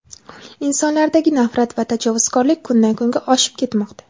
Insonlardagi nafrat va tajovuzkorlik kundan-kunga oshib ketmoqda;.